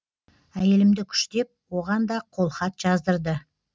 әйелімді күштеп оған да қолхат жаздырды